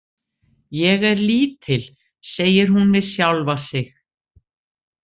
Ég er lítil, segir hún við sjálfa sig.